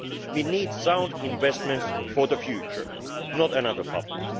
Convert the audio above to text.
We need sound investments for the future, not another bubble.